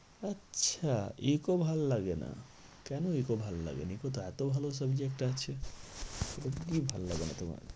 আচ্ছা eco ভালো লাগে না। কেন eco ভালো লাগে না? eco তো এতো ভালো subject আছে এটাতে কি ভালো লাগে না তোমার?